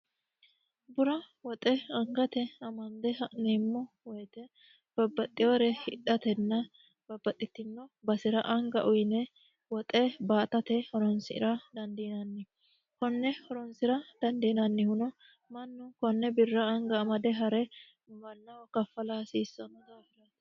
bura woxe angate amande ha'neemmo woyite babbaxxiore hidhatenna babbaxxitino basera anga uyine woxe baatate horonsira dandiinanni konne horonsi'ra dandiinannihuno mannu konne birra anga amade ha're mannaho kaffala hasiissanno daafirati